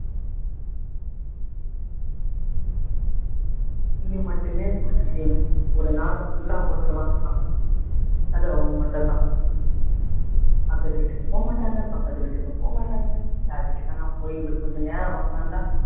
tea அ மட்டுமே குடிச்சு ஒரு நாளை full ஆ ஓட்டிருவாங்கன்னா அது அவங்க மட்டும் தான் பக்கத்து வீட்டுக்கு போக மாட்டாங்க பக்கத்து வீட்டுக்கு போக மாட்டாங்க யார் வீட்டுக்குன்னா போய் அப்படி கொஞ்ச நேரம் உக்காந்தா,